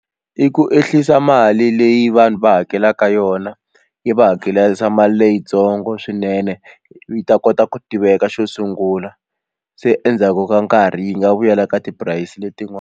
I ku ehlisa mali leyi vanhu va hakelaka yona yi va hakelisa mali leyitsongo swinene yi ta kota ku tiveka xo sungula se endzhaku ka nkarhi yi nga vuyela ka tipurasi letin'wana.